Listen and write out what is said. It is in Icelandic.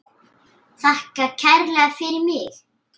Þakka kærlega fyrir mig.